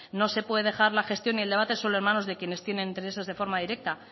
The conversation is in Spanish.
no se puede dejar la gestión y el debate solo en manos de quienes tienen intereses de forma directa